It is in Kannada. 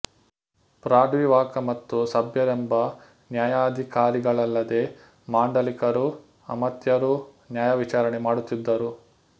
ಪ್ರಾಡ್ವಿವಾಕ ಮತ್ತು ಸಭ್ಯರೆಂಬ ನ್ಯಾಯಾಧಿಕಾರಿಗಳಲ್ಲದೆ ಮಾಂಡಲಿಕರೂ ಅಮಾತ್ಯರೂ ನ್ಯಾಯವಿಚಾರಣೆ ಮಾಡುತ್ತಿದ್ದರು